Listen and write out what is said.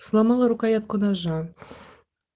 сломала рукоятку ножа